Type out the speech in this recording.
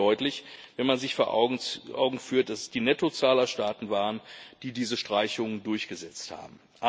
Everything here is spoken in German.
Und das wird deutlich, wenn man sich vor Augen führt, dass es die Nettozahler-Staaten waren, die diese Streichung durchgesetzt haben.